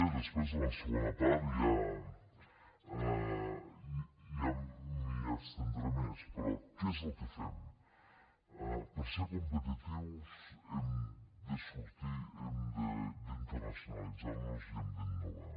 després en la segona part ja m’hi estendré més però què és el que fem per ser competitius hem de sortir hem d’internacionalitzar nos i hem d’innovar